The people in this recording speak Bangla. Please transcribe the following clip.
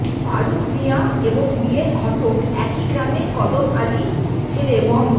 ফারুক মিয়া এবং বিয়ের ঘটক একই গ্রামের কদম আলী ছেলে মো